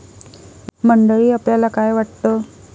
मंडळी, आपल्याला काय वाटतं?